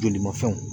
Joli ma fɛnw